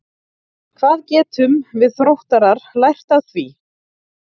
Hvað getum við Þróttarar lært af því?